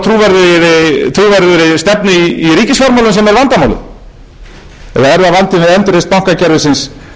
við endurreisn bankakerfisins sem hefur tafist nú skora ég á